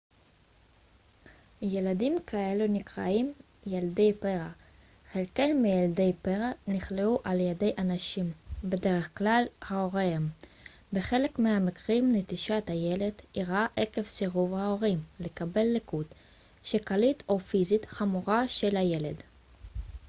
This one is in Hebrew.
"ילדים כאלו נקראים "ילדי פרא"". חלק מילדי הפרא נכלאו על-ידי אנשים בדרך כלל הוריהם; בחלק מהמקרים נטישת הילד אירעה עקב סירוב ההורים לקבל לקות שכלית או פיזית חמורה של הילד.